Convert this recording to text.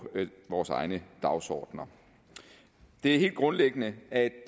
vores egne dagsordener det er helt grundlæggende at